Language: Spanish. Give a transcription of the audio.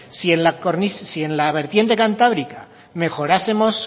si en la vertiente cantábrica mejorásemos